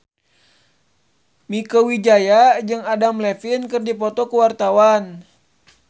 Mieke Wijaya jeung Adam Levine keur dipoto ku wartawan